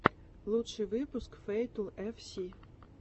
лучший выпуск фэйтл эф си